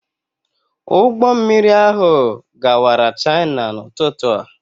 Ụgbọ mmiri ahụ gawara China n'ụtụtụ a.